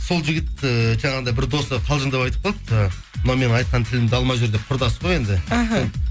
сол жігіт ііі жаңағындай бір досы қалжындап айтып қалды жаңа мынау менің айтқан тілімді алмай жүр деп құрдас қой енді іхі